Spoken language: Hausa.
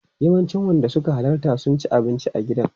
Yawancin wanda suka halarta sun ci abinci a gidan.